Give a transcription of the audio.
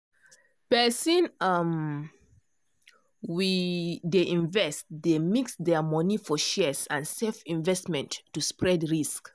person um we dey invest dey mix their money for shares and safe investments to spread risk.